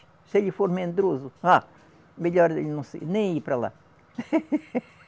Se ele for medroso, ah melhor ele não se, nem ir para lá.